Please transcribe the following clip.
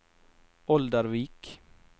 Oldervik